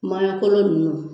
Maɲɔ kolo ninnu